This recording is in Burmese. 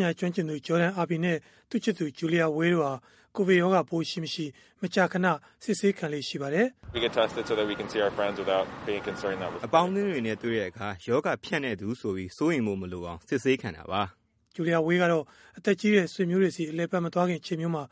ညာကျွမ်းကျင်သူ Jordan Erby နဲ့ အတွဲ Julia Weil တို့ ၂ ဦးဟာ ကိုဗစ်ရောဂါပိုး ရှိမရှိ မကြာမကြာ စစ်ဆေးခံလေ့ ရှိပါတယ်။ “အပေါင်းအသင်းတွေနဲ့ တွေ့တဲ့အခါ ရောဂါဖြန့်တဲ့သူဆိုပြီး စိုးရိမ်ဖို့ မလိုအောင် စစ်ဆေးခံတာပါ။” Julia Weil ကတော့ အသက်ကြီးတဲ့ ဆွေမျိုးတွေဆီ အလည်အပတ် မသွားခင် အချိန်မျိုးမှာ